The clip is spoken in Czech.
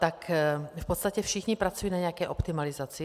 Tak v podstatě všichni pracují na nějaké optimalizaci.